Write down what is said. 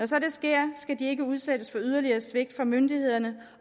så sker skal de ikke udsættes for yderligere svigt af myndighederne